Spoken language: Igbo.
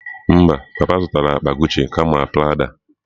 Mba, papa zụtara Guchi akpa kama Prada.